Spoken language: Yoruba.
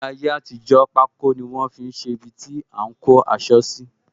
Ní ayé àtijó, pako ni wọn fi ṣe ibiti a ń kó aṣọ síi